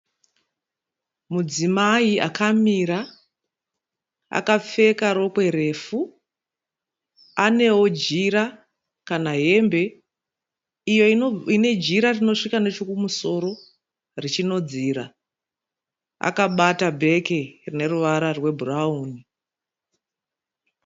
Mudzimai akamira akapfeka rokwe refu. Anewo jira kana hembe iyo ine jira rinosvika nechekumusoro richinodzira. Akabata bheke rine ruvara rwebhurawuni.